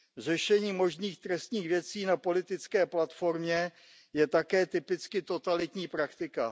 Řešení možných trestních věcí na politické platformě je také typicky totalitní praktika.